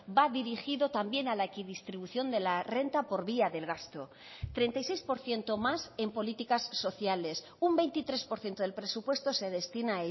va dirigido también a la equidistribución de la renta por vía del gasto treinta y seis por ciento más en políticas sociales un veintitrés por ciento del presupuesto se destina a